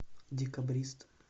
декабрист